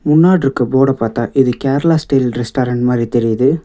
முன்னாட்ருக்க போர்ட பாத்தா இது கேரளா ஸ்டைல் ரெஸ்டாரண்ட் மாரி தெரியிது.